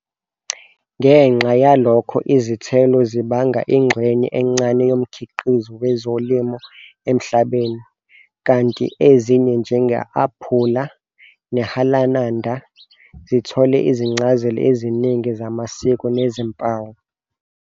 Ngenxa yalokho, izithelo zibanga ingxenye encane yomkhiqizo wezolimo emhlabeni, kanti ezinye, njenge-aphula nehalananda, zithole izincazelo eziningi zamasiko nezimpawu.